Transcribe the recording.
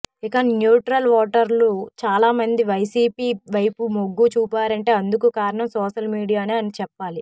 ఇక న్యూట్రల్ ఓటర్లు చాలామంది వైసీపీ వైపు మొగ్గు చూపారంటే అందుకు కారణం సోషల్ మీడియానే అని చెప్పాలి